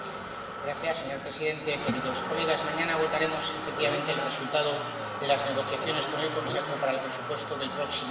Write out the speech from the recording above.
Señor presidente, señorías, mañana votaremos efectivamente el resultado de las negociaciones con el Consejo para el presupuesto del próximo año.